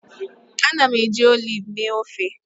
Ana m eji oliv mee ofe